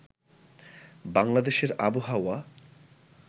বাংলাদেশের আবহাওয়া